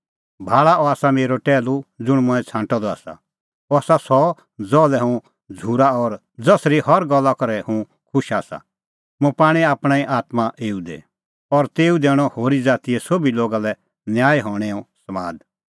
भाल़ा अह आसा मेरअ टैहलू ज़ुंण मंऐं छ़ांटअ द आसा अह आसा सह ज़हा लै हुंह झ़ूरा और ज़सरी हर गल्ला करै हुंह खुश आसा मुंह पाणीं आपणीं आत्मां एऊ दी और तेऊ दैणअ होरी ज़ातीए सोभी लोगा लै न्याय हणैंओ समाद